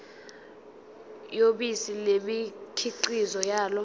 yobisi nemikhiqizo yalo